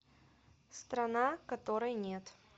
страна которой нет